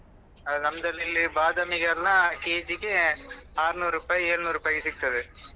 ಅದೇ ನಮ್ದ್ರಲ್ಲಿ ಇಲ್ಲಿ ಬಾದಾಮಿಗೆ ಎಲ್ಲಾ ಕೆಜಿಗೆ ಆರ್ನೂರು ರೂಪಾಯಿ ಏಳ್ನೂರು ರೂಪಾಯಿಗೆ ಸಿಕ್ತದೆ.